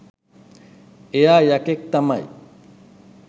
එයා යකෙක් තමයි